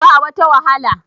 ba wata wahala